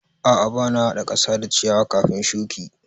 A'a ba na haɗa ƙasa da ciyawa kafin shuki.